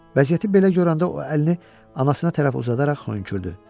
Vəziyyəti belə görəndə o əlini anasına tərəf uzadaraq xönkürdü.